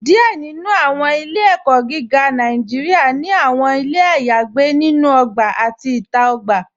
Díẹ̀ nínú àwọn ilẹ̀-ẹ̀kó̩ gígá Nàìjíríà ni àwọn ilẹ̀ ayagbè lórí ògbà àti ìta ògbà.